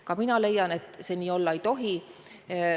Ka mina leian, et see nii olla ei tohi.